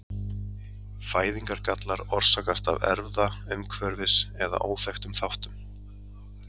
Fæðingargallar orsakast af erfða-, umhverfis- eða óþekktum þáttum.